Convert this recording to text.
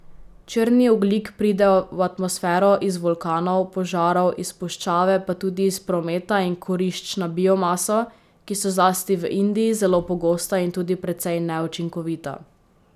Črni ogljik pride v atmosfero iz vulkanov, požarov, iz puščave pa tudi iz prometa in kurišč na biomaso, ki so zlasti v Indiji zelo pogosta in tudi precej neučinkovita.